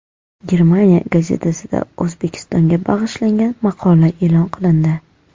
Germaniya gazetasida O‘zbekistonga bag‘ishlangan maqola e’lon qilindi.